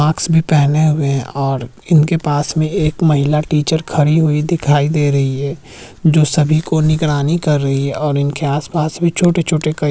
mask भी पहने हुए हैं और इनके पास में एक महिला टीचर खड़ी हुई दिखाई दे रही है जो सभी को निगरानी कर रही है और इनके आस-पास भी छोटे-छोटे कई --